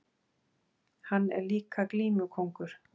Hann er líka glímukóngur!